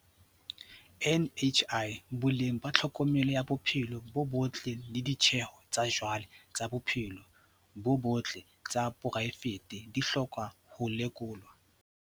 NHI, boleng ba tlhokomelo ya bophelo bo botle le ditjeho tsa jwale tsa bophelo bo botle tsa poraefete di hloka ho lekolwa.